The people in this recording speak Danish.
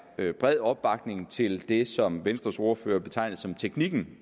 er bred opbakning til det som venstres ordfører betegnede som teknikken